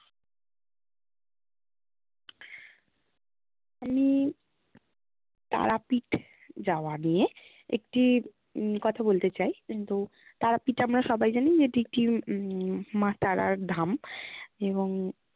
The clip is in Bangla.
আমি তারাপীঠ যাওয়া নিয়ে একটি উম কথা বলতে চাই। কিন্তু তারাপীঠ আমরা সবাই জানি যে এটি একটি উম মা তারার ধাম এবং